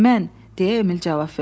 Mən, deyə Emil cavab verdi.